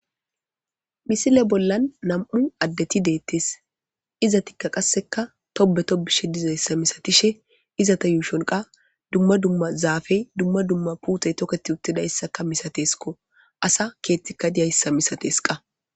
misile bollan nam7u addeti deettes iza tikka qasseka tobe to bishe dizayssa misatishe izata yuushonqa dumma dumma zaafey dumma dumma puutey toketi uttidayssaka misateskko asa keettikka diyayssa misateska